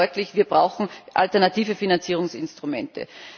Das macht deutlich Wir brauchen alternative Finanzierungsinstrumente.